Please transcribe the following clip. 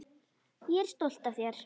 Ég er stolt af þér.